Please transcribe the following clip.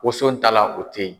Wonso ta la o teyi.